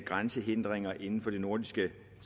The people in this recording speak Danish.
grænsehindringer inden for det nordiske